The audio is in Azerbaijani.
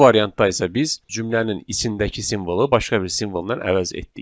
Bu variantda isə biz cümlənin içindəki simvolu başqa bir simvolla əvəz etdik.